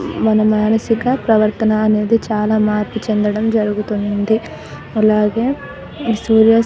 మన మానసిక ప్రవర్తన అనేది చాలా మార్పు చెందడం జరుగుతుంది అలాగే సూర్య --